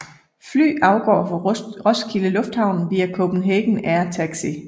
Fly afgår fra Roskilde Lufthavn via Copenhagen Air Taxi